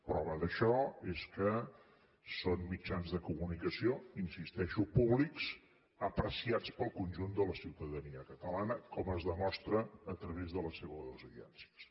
prova d’això és que són mitjans de comunicació hi insisteixo públics apreciats pel conjunt de la ciutadania catalana com es demostra a través de les seves audiències